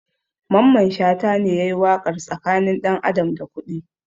Mamman shata ne yayi waƙar tsakanin ɗan adam da kuɗi